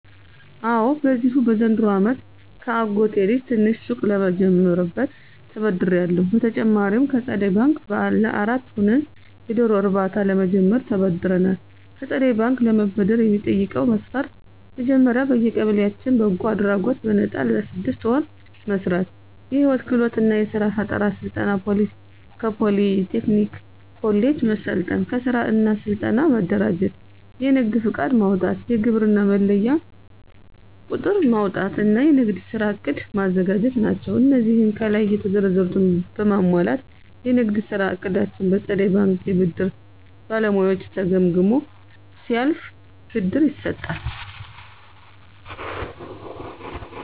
አወ በዚሁ በዘንድሮው አመት ከአጎቴ ልጅ ትንሽ ሱቅ ለምጀምርበት ተበድሬአለሁ። በተጨማሪም ከፀደይ በንክ ለአራት ሆነን የዶሮ እርባታ ለመጀመር ተበድረናል። ከፀደይ ባንክ ለመበደር የሚጠይቀው መስፈርት መጀመሪያ በየቀበሌያችን በጎ አድራጎት በነጣ ለስድስት ወር መስራት፣ የህይወት ክህሎት እና የስራ ፈጠራ ስልጠና ከፖሊ ቴክኒክ ኮሌጅ መሰልጠን፣ ከስራ እና ስልጠና መደራጀት፣ የንግድ ፍቃድ ማውጣት፣ የግብር መለያ ቁጥር ማውጣት እና የንግድ ስራ ዕቅድ ማዘጋጀት ናቸው። አነዚህን ከላይ የተዘረዘሩትን በማሟላት የንግድ ስራ እቅዳችን በፀደይ ባንክ የብድር ባለሙያዎች ተገምግሞ ሲያልፍ ብድር ይሰጣል።